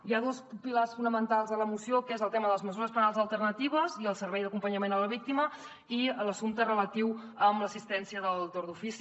hi ha dos pilars fonamentals a la moció que són el tema de les mesures penals alternatives i el servei d’acompanyament a la víctima i l’assumpte relatiu a l’assistència del torn d’ofici